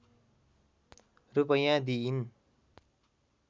रूपैयाँ दिइन्